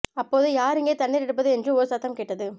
அப்போது யார் இங்கே தண்ணீர் எடுப்பது என்று ஒரு சத்தம் கேட்டது